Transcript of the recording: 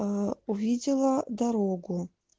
аа увидела дорогу